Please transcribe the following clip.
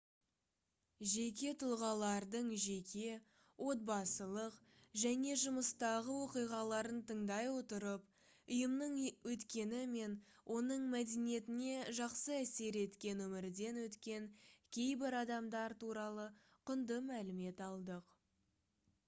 жеке тұлғалардың жеке отбасылық және жұмыстағы оқиғаларын тыңдай отырып ұйымның өткені мен оның мәдениетіне жақсы әсер еткен өмірден өткен кейбір адамдар туралы құнды мәлімет алдық